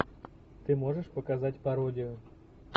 ты можешь показать пародию